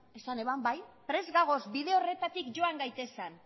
esan zuen bai prest gaude bide horretatik joan gaitezen